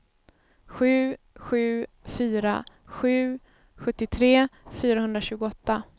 sju sju fyra sju sjuttiotre fyrahundratjugoåtta